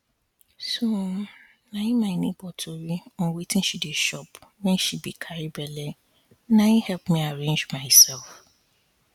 so na my neighbor tori on wetin she dey chop wen she be carry belle na help me arrange myself